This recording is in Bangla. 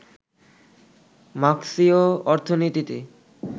মার্ক্সীয় অর্থনীতিতে